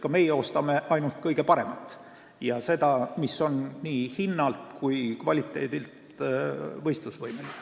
Ka meie ostame ainult kõige paremat kaupa: seda, mis on nii hinnalt kui kvaliteedilt võistlusvõimeline.